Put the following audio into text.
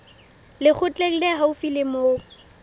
lekgotleng le haufi le moo